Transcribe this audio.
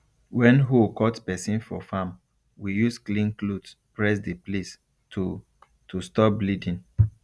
when hoe cut person for farm we use clean cloth press the place to to stop bleeding